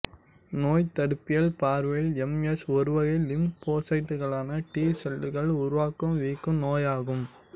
நோய்த்தடுப்பியல் பார்வையில் M S ஒருவகை லிம்போசைட்டுகளான டி செல்களால் உருவாகும் வீக்க நோயாகும்